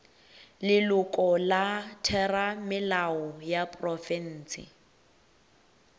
leloko la theramelao ya profense